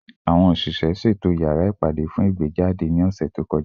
Awọn oṣiṣẹ, ṣeto yara ipade fun igbejade ni ọsẹ to kọja